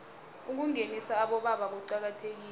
ukungenisa abobaba kuqakathekile